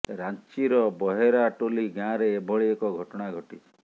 ରାଞ୍ଚୀର ବହେରା ଟୋଲି ଗାଁରେ ଏଭଳି ଏକ ଘଟଣା ଘଟିଛି